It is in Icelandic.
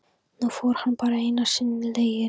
Nú fór hann bara sínar eigin leiðir.